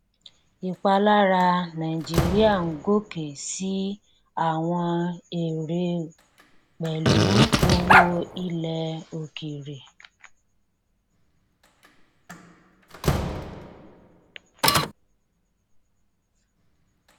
ìpalára nàìjíríà ń gòkè sí àwọn èrè pẹlú owó ilẹ òkèèrè